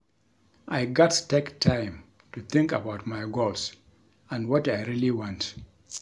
I gats take time to think about my goals and what I really want.